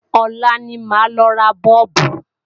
Ọ̀la ní máa lọ ra Bọ́ọ̀bù